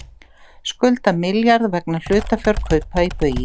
Skulda milljarð vegna hlutafjárkaupa í Baugi